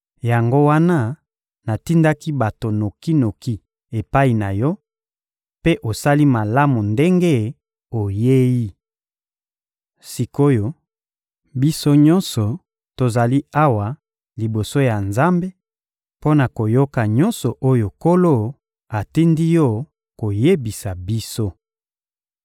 Yango wana, natindaki bato noki-noki epai na yo, mpe osali malamu ndenge oyei. Sik’oyo, biso nyonso tozali awa liboso ya Nzambe mpo na koyoka nyonso oyo Nkolo atindi yo koyebisa biso.